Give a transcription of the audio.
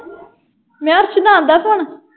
ਮੈਂ ਕਿਹਾ ਅਰਸ਼ ਦਾ ਆਉਂਦਾ phone